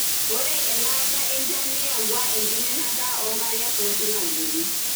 ore elaata enchan neyawua enkiminata onkariak tosilankeni.